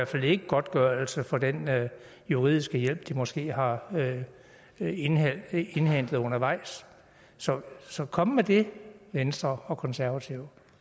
fald ikke godtgørelse for den juridiske hjælp de måske har indhentet indhentet undervejs så så kom med det venstre og konservative